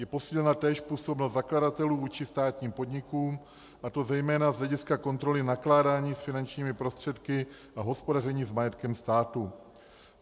Je posílena též působnost zakladatelů vůči státním podnikům, a to zejména z hlediska kontroly nakládání s finančními prostředky a hospodaření s majetkem státu.